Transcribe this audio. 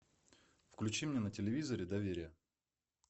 включи мне на телевизоре доверие